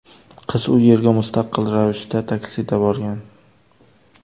Qiz u yerga mustaqil ravishda taksida borgan.